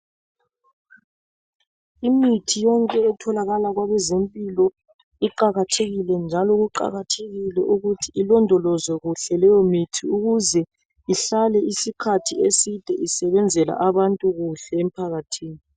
Imithi yonke etholakala kwabeze mpilo iqakathekile njalo kuqakathekile ukuthi ilondolozwe kuhle leyo mithi ukuze ihlale isikhathi eside isebenzela abantu kuhle emphakathini.